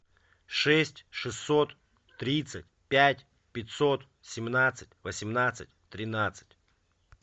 шесть шестьсот тридцать пять пятьсот семнадцать восемнадцать тринадцать